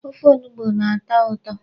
Ofe onugbu na-atọ ụtọ.